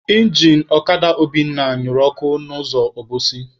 Injin ọkada Obinna nyụrụ ọkụ n'ụzọ Obosi.